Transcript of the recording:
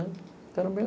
Entao era bem...